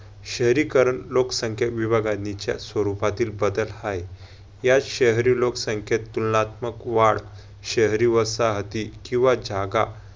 शहरीकारण लोकसंख्या विभागणीच्या स्वरूपातील बदल हाय. यात शहरी लोकसंख्येत तुलनात्मक वाढ शहरी वसाहती किंवा जागा